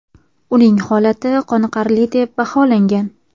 Uning holati qoniqarli deb baholangan.